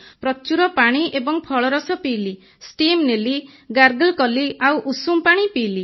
ପ୍ରଚୁର ପାଣି ଏବଂ ଫଳରସ ପିଇଲି ଷ୍ଟିମ୍ ନେଲି ଗାର୍ଗଲ କଲି ଆଉ ଉଷୁମ ପାଣି ପିଇଲି